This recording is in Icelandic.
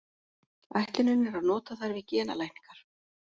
Ætlunin er að nota þær við genalækningar.